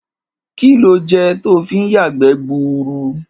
Kí lo je̩ to fi ń yàgbé̩ gburu?